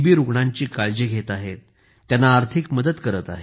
रुग्णांची काळजी घेत आहेत त्यांची आर्थिक मदत करत आहेत